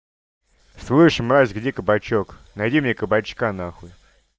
слышишь мразь где кабачок найди мне кабачка нахуй